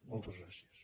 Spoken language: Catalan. moltes gràcies